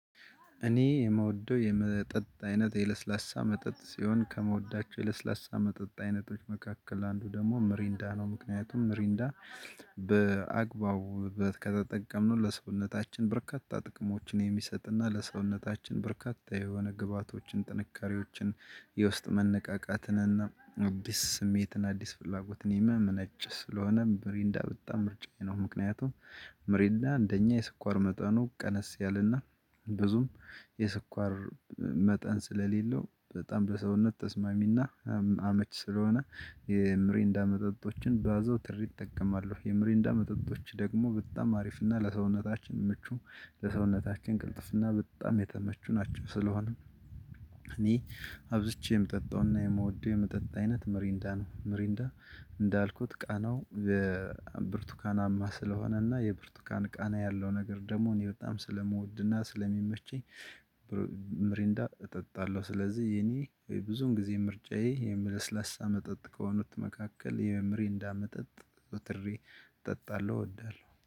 እኔ የምወደው የመጠጥ አይነት የለስላሳ መጠጥ ሲሆን ከመወዳቸው የለስላሳ መጠጥ አይነቶች መካከል አንዱ ደግሞ ምሪንዳ ነው። ምክንያቱም ምሪንዳ በአግባቡ ከተጠቀምነው ለሰውነታችን በርካታ ጥቅሞችን የሚሰጥ እና ለሰውነታችን በርካታ የሆነ ግብአቶችን ጥንካሬዎችን የ ዉስጥ መነቃቃትን እና አዲስ ስሜትን አዲስ ፍላጎት የሚያመነች ስለሆነ ብሪንዳ በጣም ምርጫዬ ነው። ምክንያቱም ምሬንዳ እንደኛ የሰኳር መጠኑ ቀነስ ያለ እና ብዙም የስኳር መጠን ስለሌለው በጣም በሰውነት ተስማሚ እና አመቺ ስለሆነ የምሬንዳ መጠጦችን በአዞትሬ እጠቀማለው የምሬንዳ መጠጦች ደግሞ በጣም አሪፍ እና ለሰውነታችን ምቹ ለሰውነታችን ቅልጥፍና በጣም የተመቹ ናቸው። ስለሆነም እኔ አብዝቼ የምጠጣውና የምወደው የምጠጣ አይነት መሪንዳ ነው። መሪንዳ እንዳልኩት ቃናው በብርቱካናማ ስለሆነና የብርቱካናማ ቃና ያለው ነገር ደግሞ እኔ በጣም ስለምወድና ስለሚመቸኝ እጠጣለሁ። ስለዚህ የኔ ብዙን ጊዜ ምርጫዬ የምለስላሳ መጠጥ ከሆኑት መካከል የመምሬንዳ መጠጥ ዝዉትሬ እጠጣለሁ እወዳለሁ